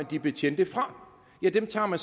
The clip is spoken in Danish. de betjente fra ja dem tager